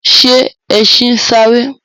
Ṣe ẹṣin ń sáré?